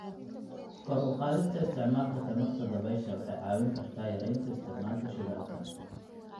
Kor u qaadista isticmaalka tamarta dabaysha waxay caawin kartaa yareynta isticmaalka shidaalka.